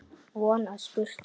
Von að spurt sé.